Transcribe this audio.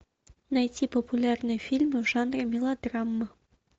найти популярные фильмы в жанре мелодрама